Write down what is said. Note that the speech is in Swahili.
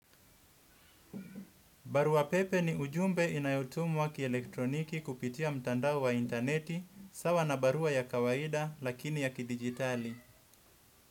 Barua pepe ni ujumbe inayotumwa kielektroniki kupitia mtandao wa intaneti, sawa na barua ya kawaida lakini ya kidijitali.